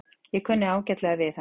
Ég kunni ágætlega við hann.